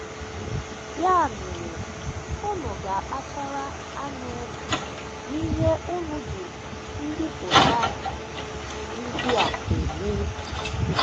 Ya mere unu ga - akpachakwara anya n’ihe unu ji mbipụta um ndị a eme. ”